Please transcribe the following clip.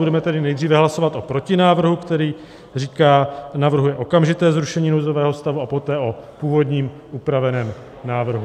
Budeme tedy nejdříve hlasovat o protinávrhu, který říká, navrhuje okamžité zrušení nouzového stavu a poté o původním upraveném návrhu.